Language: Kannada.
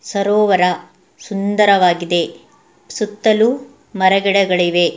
ಸರೋವರ ಸುಂದರವಾಗಿದೆ ಸುತ್ತಲೂ ಮರ ಗಿಡಗಳಿವೆ.